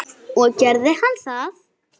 Og gerði hann það?